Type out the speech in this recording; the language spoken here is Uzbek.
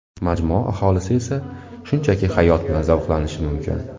Majmua aholisi esa shunchaki hayot bilan zavqlanishi mumkin.